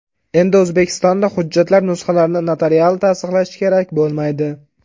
Endi O‘zbekistonda hujjatlar nusxalarini notarial tasdiqlash kerak bo‘lmaydi.